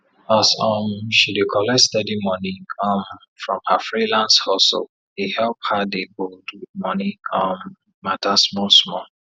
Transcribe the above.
as um she dey collect steady money um from her freelance hustle e help her dey bold with money um matter small small